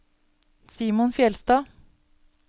Simon Fjellstad